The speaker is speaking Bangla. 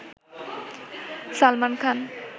সালমান খান